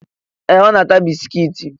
Ee! Ọ na-ata bisikiiti.